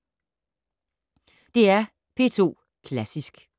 DR P2 Klassisk